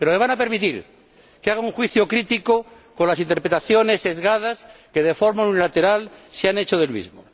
Pero me van a permitir que haga un juicio crítico con las interpretaciones sesgadas que, de forma unilateral, se han hecho del mismo.